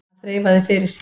Hann þreifaði fyrir sér.